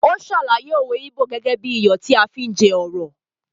Ó sàlàyé òwe íbò gẹ́gẹ́ bí i “ iyọ̀ tí à á fi jẹ ọ̀rọ̀ ”.